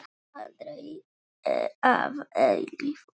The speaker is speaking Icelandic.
Aldrei að eilífu.